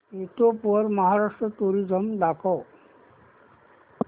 YouTube वर Maharashtra tourism दाखव